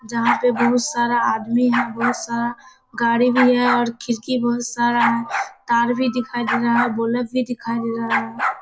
जहाँ पे बहुत सारा आदमी है बहुत सारा गाड़ी भी है और खिड़की बहुत सारा है। कार भी दिखाई दे रहा है और बुलेट भी दिखाई दे रहा है।